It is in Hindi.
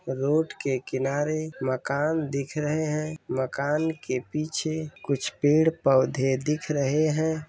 रोड के किनारे मकान दिख रहे हैं। मकान के पीछे कुछ पेड़ पौधे दिख रहे हैं।